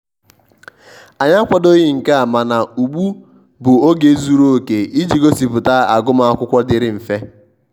anyi akwadoghi nke a mana ụgbụ bụ oge zụrụ oke iji gosiputa agum akwụkwo diri mfe.